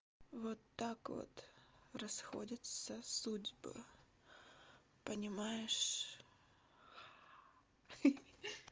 вот так вот расходятся судьбы понимаешь хи-хи